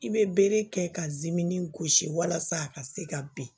I bɛ bere kɛ ka gosi walasa a ka se ka bin